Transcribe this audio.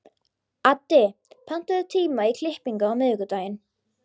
Addi, pantaðu tíma í klippingu á miðvikudaginn.